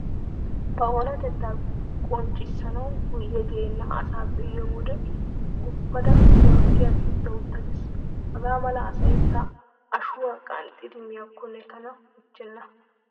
Ba oonatettaa qonccissanawu guyye geenna asa be'iyo wode guppada morggiyan utta utta gees. Hagaa mala asay ta ashuwa qanxxidi miyakkonne tana michchenna!